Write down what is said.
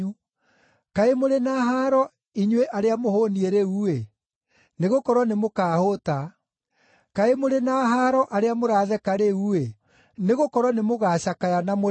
Kaĩ mũrĩ na haaro inyuĩ arĩa mũhũũniĩ rĩu-ĩ, nĩgũkorwo nĩmũkahũũta. Kaĩ mũrĩ na haaro arĩa mũratheka rĩu-ĩ, nĩgũkorwo nĩmũgacakaya na mũrĩre.